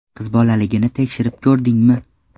Qizbolaligini tekshirib ko‘rdingmi?